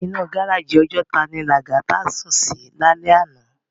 Inú gáráji Òjòtá ni Lagata sún si lálè àná